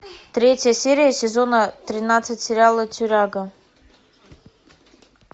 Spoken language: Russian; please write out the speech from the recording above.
третья серия сезона тринадцать сериала тюряга